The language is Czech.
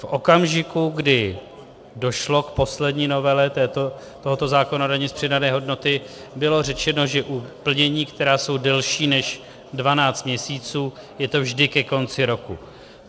V okamžiku, kdy došlo k poslední novele tohoto zákona o dani z přidané hodnoty, bylo řečeno, že u plnění, která jsou delší než 12 měsíců, je to vždy ke konci roku.